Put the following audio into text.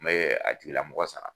N bɛ a tigi lamɔgɔ sara.